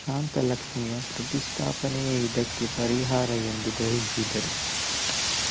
ಶಾಂತ ಲಕ್ಷ್ಮಿಯ ಪ್ರತಿಷ್ಠಾಪನೆಯೇ ಇದಕ್ಕೆ ಪರಿಹಾರ ಎಂದು ಗ್ರಹಿಸಿದರು